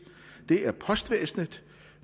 det er postvæsenet